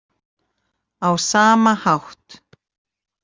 á sama hátt.